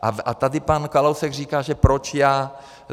A tady pan Kalousek říká, že proč já.